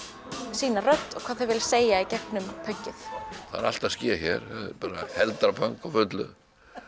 sína rödd og hvað þau vilja segja gegnum pönkið það er allt að ske hér heldrapönk á fullu